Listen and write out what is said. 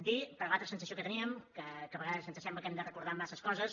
dir per l’altra sensació que teníem que a vegades ens sembla que hem de recordar massa coses